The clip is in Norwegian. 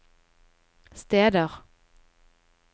steder